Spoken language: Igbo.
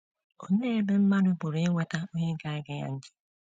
Olee ebe mmadụ pụrụ inweta onye ga - ege ya ntị?